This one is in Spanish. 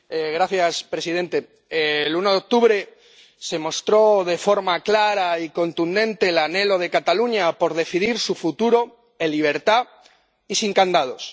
Señor presidente, el 1 de octubre se mostró de forma clara y contundente el anhelo de Cataluña por decidir su futuro en libertad y sin candados.